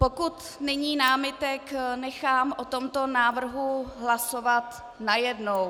Pokud není námitek, nechám o tomto návrhu hlasovat najednou.